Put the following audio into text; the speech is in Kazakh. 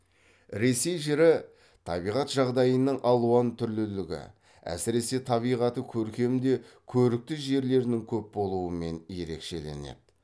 ресей жері табиғат жағдайының алуан түрлілігі әсіресе табиғаты көркем де көрікті жерлерінің көп болуымен ерекшеленеді